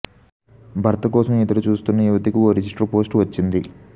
భర్త కోసం ఎదురు చూస్తున్న యువతికి ఓ రిజిస్టర్ పోస్ట్ వచ్చింది